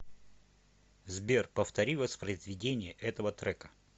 сбер повтори воспроизведение этого трека